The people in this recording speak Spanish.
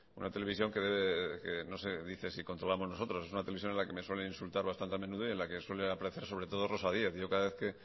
una televisión que dice si controlamos nosotros es una televisión en la que me suelen insultar bastante a menudo y en la que suele aparecer sobre todo rosa díez yo cada vez que